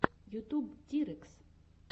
ютуб тирэкс